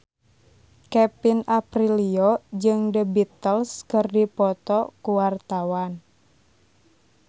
Kevin Aprilio jeung The Beatles keur dipoto ku wartawan